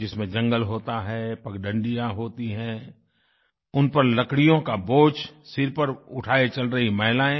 जिसमें जंगल होता है पगडंडियां होती हैं उन पर लकड़ियों का बोझ सिर पर उठाये चल रही महिलाएँ